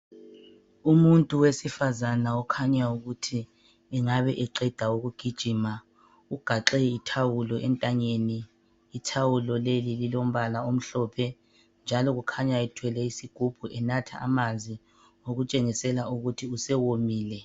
umuntu wesifazana okhanyayo ukuthi engabeqeda kugijima ugaxe ithawulo entanyeni ithawulo leli lilombala omhlophe njalo kukhanya ethwele isigubhu enatha amanzi okutshengisela ukuthi usewomile